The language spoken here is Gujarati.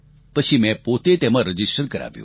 પછી મેં પોતે તેમાં રજીસ્ટર કરાવ્યું